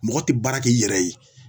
Mɔgɔ te baara k'i yɛrɛ ye